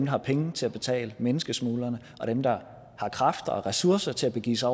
har penge til at betale menneskesmuglerne og dem der har kræfter og ressourcer til at begive sig